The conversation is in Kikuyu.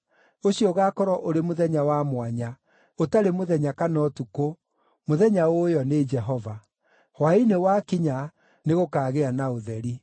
Ũcio ũgaakorwo ũrĩ mũthenya wa mwanya, ũtarĩ mũthenya kana ũtukũ, mũthenya ũũĩo nĩ Jehova. Hwaĩ-inĩ wakinya, nĩgũkagĩa na ũtheri.